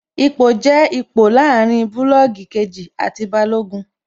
Ipò jẹ́ ipò láàrin bulọọgi kejì àti Balógun